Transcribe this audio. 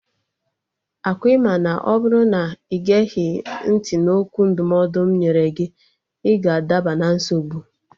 Ọkwa ị ma na ọ bụrụ na ị geghị ntị na okwu ndụmọdụ m nyere gị, ị ga-adaba na nsogbu?